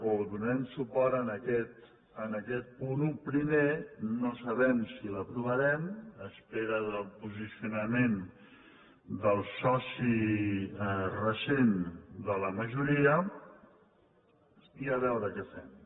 o donarem suport a aquest punt un primer no sabem si l’aprovarem en espera del posicionament del soci recent de la majoria i a veure què fem